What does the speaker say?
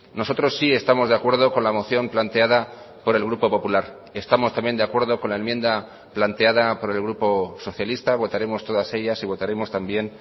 nosotros sí estamos de acuerdo con la moción planteada por el grupo popular estamos también de acuerdo con la enmienda planteada por el grupo socialista votaremos todas ellas y votaremos también